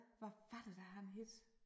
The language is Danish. Hvad var det da han hed